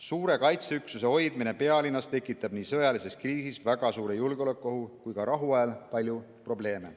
Suure kaitseüksuse hoidmine pealinnas tekitab nii sõjalises kriisis väga suure julgeolekuohu kui ka rahuajal palju probleeme.